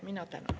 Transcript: Mina tänan.